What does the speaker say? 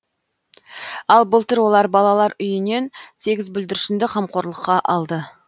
ал былтыр олар балалар үйінен сегіз бүлдіршінді қамқорлыққа алды